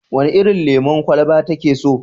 Wene irin lemon kwalaba take so?